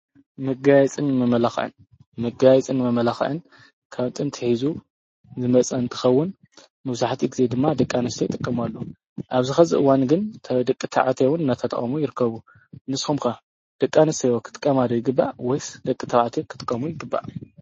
መጋየፅን መመላክዕን፡ መጋየፅን መመላክዕን ካብ ጥንቲ ሒዙ ዝመፀ እንትከውን መብዛሕትኡ ግዜ ድማ ደቂ ኣንስትዮ ይጥቀማሉ። ኣብዚ ሒዚ እዋን ግን ደቂ ተባዕትዮ እውን እናተጠቀሙ ይርከቡ። ንስኩም ከ ደቂ ኣንስትዮ ክጥቀማ ይግባእ ወይስ ደቂ ተባዕትዮ ክጥቀሙ ይግባእ?